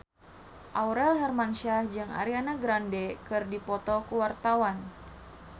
Aurel Hermansyah jeung Ariana Grande keur dipoto ku wartawan